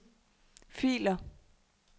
filer